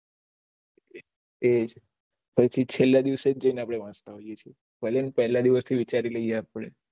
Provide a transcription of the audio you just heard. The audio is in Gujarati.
તેજ સૌથી છેલા દિવસે આપળે વાંચવાનું બેશુ ભલે ને પેહલા દિવસ થી વિચારી લિયે આપળે